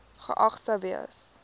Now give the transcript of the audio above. geag sou gewees